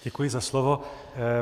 Děkuji za slovo.